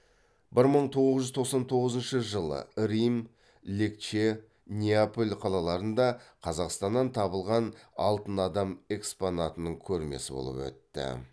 бір мың тоғыз жүз тоқсан тоғызыншы жылы рим легче неаполь қалаларында қазақстаннан табылған алтын адам экспонатының көрмесі болып өтті